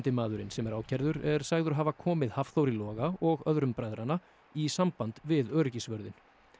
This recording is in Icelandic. maðurinn sem er ákærður er sagður hafa komið Hafþóri Loga og öðrum bræðranna í samband við öryggisvörðinn